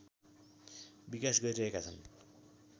विकास गरिरहेका छन्